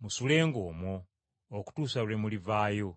musulenga omwo okutuusa lwe mulivaayo.